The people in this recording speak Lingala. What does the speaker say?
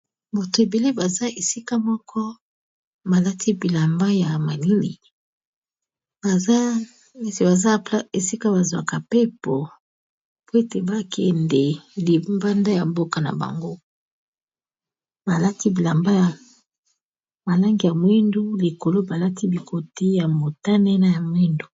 Bato ebele baza esika moko balati bilamba ya malili, baza esika ba zwaka mpepo po ete ba kende libanda ya mboka na bango. Balati bilamba ya langi ya mwindu likolo ba lati bikoti ya motane na ya mwindu.